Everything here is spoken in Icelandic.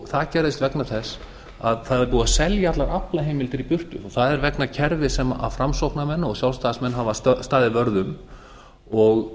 það gerðist vegna þess að það er búið að selja allar aflaheimildir í burtu það er vegna kerfis sem framsóknarmenn og sjálfstæðismenn hafa staðið vörð um og